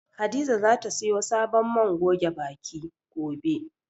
Hadiza zata siyo sabon man goge baki, gobe.